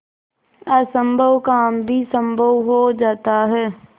असम्भव काम भी संभव हो जाता है